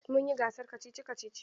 Mun yi gasar kacici-kacici.